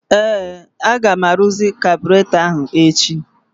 Ee! Aga m arụzị kabụratọ ahụ echi.